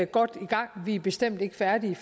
godt i gang vi er bestemt ikke færdige